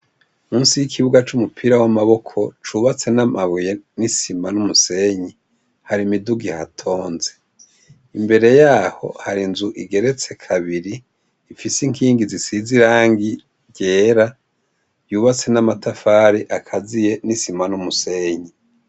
Munsi y'ikibuga c'umupira w'amaboko cubatse n'amabuye n'isima n'umusenyi hari imiduga ihatonze imbere yaho hari inzu igeretse kabiri ifise inkingi zisize irangi ryera yubatse n'amatafari akaziye n'isima n'umusenyi.